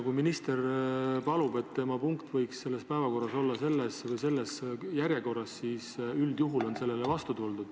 Kui minister palub, et tema punkt võiks päevakorras olla järjekorras seal või seal, siis üldjuhul on sellele vastu tuldud.